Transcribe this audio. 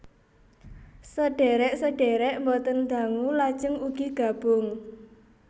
Sedhèrèk sedhèrèk boten dangu lajeng ugi gabung